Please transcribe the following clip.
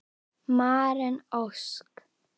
Maren Ósk.